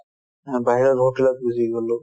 অ, বাহিৰত গুচি গ'লো